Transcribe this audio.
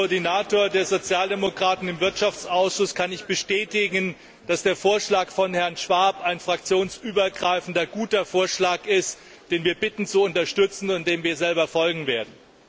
Als Koordinator der Sozialdemokraten im Ausschuss für Wirtschaft und Währung kann ich bestätigen, dass der Vorschlag von Herrn Schwab ein fraktionsübergreifender, guter Vorschlag ist, den wir bitten zu unterstützen und dem wir selber folgen werden.